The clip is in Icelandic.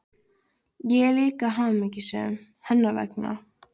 Ég er líka hamingjusöm hennar vegna.